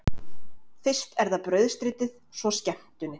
Fyrst er það brauðstritið, svo skemmtunin.